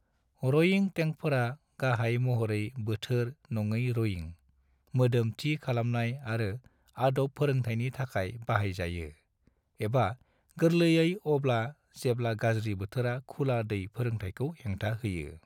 रयिं टेंकफोरा गाहाय महरै बोथोर-नङै रयिं, मोदोम-थि खालामनाय आरो आदब फोरोंथायनि थाखाय बाहाय जायो, एबा गोरलैयै अब्ला जेब्ला गाज्रि बोथोरा खुला-दै फोरोंथायखौ हेंथा होयो।